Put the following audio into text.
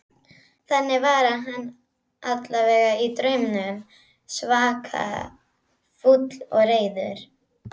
Þannig var hann allavega í draumnum, svaka fúll og reiður.